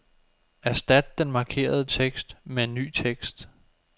Erstat den markerede tekst med ny tekst.